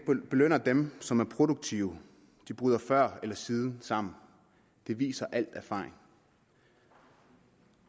belønner dem som er produktive bryder før eller siden sammen det viser alle erfaringer